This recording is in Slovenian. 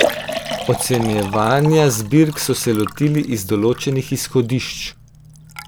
Ocenjevanja zbirk so se lotili iz določenih izhodišč.